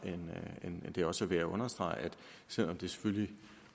end at det også er værd at understrege at selv om det selvfølgelig